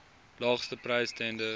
laagste prys tenders